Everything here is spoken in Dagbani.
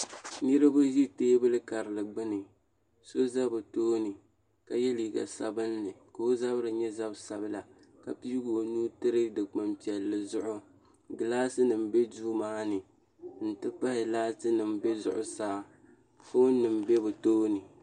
Niraba ʒi teebuli karili gbuni so ʒɛ bi tooni ka yɛ liiga sabinli ka o zabiri nyɛ zab sabila ka piigi o nuu tiri dikpuni piɛlli zuɣu gilaasi nim bɛ duu maa ni n ti pahi laati nim bɛ zuɣu saa foon nim bɛ bi tooni